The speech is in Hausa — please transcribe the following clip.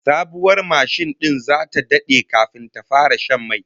Sabuwar mashin din zata dade kafin ta fara shan mai